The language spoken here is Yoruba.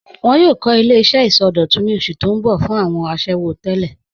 Wọn yòò kọ̀ ilẹ̀-iṣẹ̀ isọdọ̀tún ní osù tó n bọ̀ fún awọn àṣẹwo tẹlẹ.